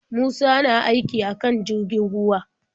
Musa na aiki akan jirgin ruwa.